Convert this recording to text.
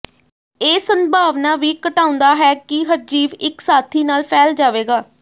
ਇਹ ਸੰਭਾਵਨਾ ਵੀ ਘਟਾਉਂਦਾ ਹੈ ਕਿ ਹਰਜੀਵ ਇੱਕ ਸਾਥੀ ਨਾਲ ਫੈਲ ਜਾਵੇਗਾ